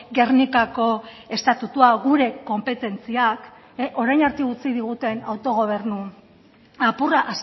gernikako estatutua gure konpetentziak orain arte utzi diguten autogobernu apurra